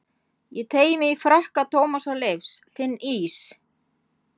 Ég teygi mig í frakka Tómasar Leifs, finn ís